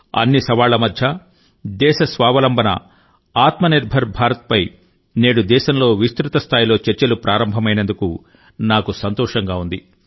అన్ని సవాళ్ళ మధ్య దేశ స్వావలంబన స్వయం నిర్భర్ భారత్ పై నేడు దేశంలో విస్తృత స్థాయిలో చర్చలు ప్రారంభమైనందుకు నాకు సంతోషంగా ఉంది